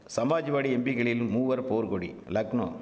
சமாஜ்வாடி எம்பிகளில் மூவர் போர்கொடி லக்னோ